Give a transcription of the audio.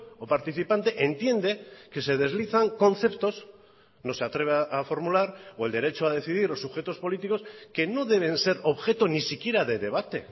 o participante entiende que se deslizan conceptos no se atreve a formular o el derecho a decidir o sujetos políticos que no deben ser objeto ni siquiera de debate